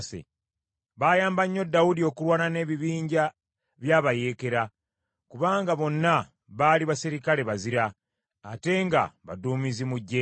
Baayamba nnyo Dawudi okulwana n’ebibinja bya bayeekera, kubanga bonna baali baserikale bazira, ate nga baduumizi mu ggye lye.